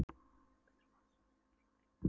Nýr og betri maður sest framan við ritvélina.